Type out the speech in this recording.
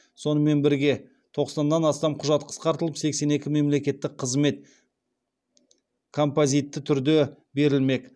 сонымен бірге тоқсаннан астам құжат қысқартылып сексен екі мемлекеттік қызмет композитті түрде берілмек